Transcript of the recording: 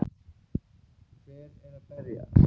Hver er að berja?